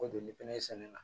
Ko joli fɛnɛ sɛnɛ na